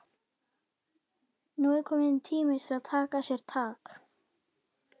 Nú er kominn tími til að taka sér tak.